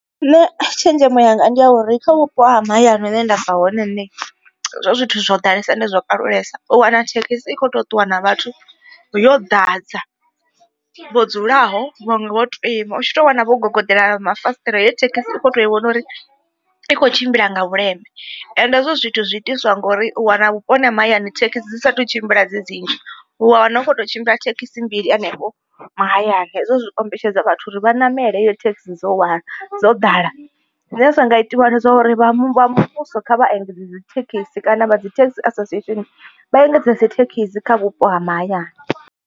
Nṋe tshenzhemo yanga ndi ya uri kha vhupo ha mahayani hune ndabva hone nṋe hezwo zwithu zwo ḓalesa ende zwo kalulesa u wana thekhisi i kho to ṱuwa na vhathu yo ḓadza vho dzulaho vhaṅwe vho to ima u tshi to wana vho gogodela na mafasiṱere heyo thekhisi u kho to i vhona uri i kho tshimbila nga vhuleme. Ende hezwo zwithu zwi itiswa ngori u wana vhuponi ha mahayani thekhisi dzi satu tshimbila dzi dzinzhi, u wa wana u khou to tshimbila thekhisi mbili henefho mahayani hezwo zwi kombetshedza vhathu uri vha ṋamela heyo thekhisi dzo hwala dzo ḓala. Zwine zwa nga itiwa ndi zwauri vha muvhuso kha vha engedze thekhisi kana vha dzi taxi association vha engedze dzi thekhisi kha vhupo ha mahayani.